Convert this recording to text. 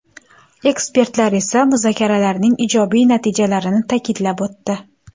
Ekspertlar esa muzokaralarning ijobiy natijalarini ta’kidlab o‘tdi.